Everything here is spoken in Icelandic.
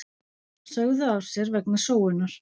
Sögðu af sér vegna sóunar